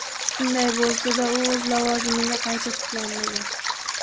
Shunday bo‘lsa-da, u o‘z lavozimiga qayta tiklanmagan.